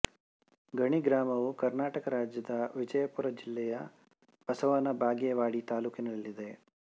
ಗಣಿ ಗ್ರಾಮವು ಕರ್ನಾಟಕ ರಾಜ್ಯದ ವಿಜಯಪುರ ಜಿಲ್ಲೆಯ ಬಸವನ ಬಾಗೇವಾಡಿ ತಾಲ್ಲೂಕಿನಲ್ಲಿದೆ